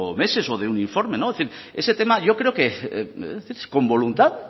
meses o de un informe en fin ese tema yo creo que con voluntad